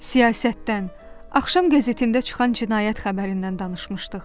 Siyasətdən, axşam qəzetində çıxan cinayət xəbərindən danışmışdıq.